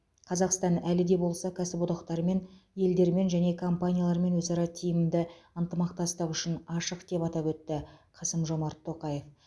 қазақстан әлі де болса кәсіподақтармен елдермен және компаниялармен өзара тиімді ынтымақтастық үшін ашық деп атап өтті қасым жомарт тоқаев